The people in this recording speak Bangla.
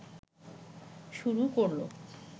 শুরু করল